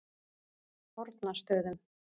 Fornastöðum